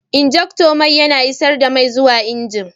Injector mai yana isar da mai zuwa injin.